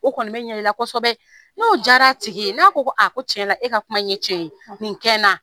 O kɔni bɛ ɲɛ i la kosɛbɛ. N'o jara tigi ye n'a ko ko a e ka kuma in ye cɛn ye, nin kɛ n na